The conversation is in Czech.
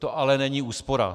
To ale není úspora.